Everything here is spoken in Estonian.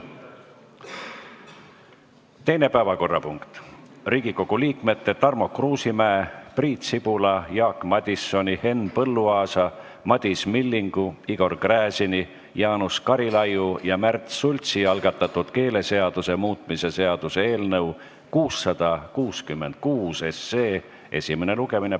Teine päevakorrapunkt: Riigikogu liikmete Tarmo Kruusimäe, Priit Sibula, Jaak Madisoni, Henn Põlluaasa, Madis Millingu, Igor Gräzini, Jaanus Karilaidi ja Märt Sultsi algatatud keeleseaduse muutmise seaduse eelnõu esimene lugemine.